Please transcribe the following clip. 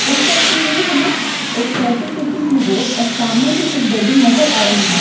इस तस्वीर में हमें एक चलती फिरती सी रोड और सामने ही एक बिल्डिंग नजर आ रही है।